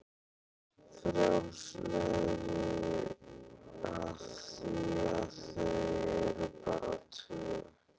Frjálslegri af því að þau eru bara tvö.